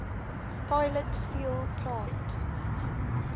pilot fuel plant